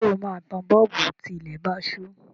Ṣé o máa tan bọ́ọ̀bù tí ilẹ̀ bá ṣú?